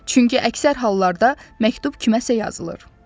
Çünki əksər hallarda məktub kiməsə yazılır.